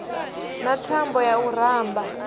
na thambo ya u ramba